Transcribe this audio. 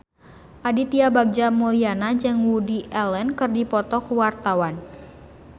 Aditya Bagja Mulyana jeung Woody Allen keur dipoto ku wartawan